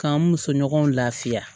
K'an muso ɲɔgɔnw lafiya